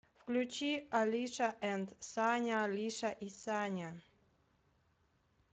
включи олиша энд саня олиша и саня